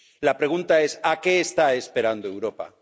La pregunta es ¿a qué está esperando Europa?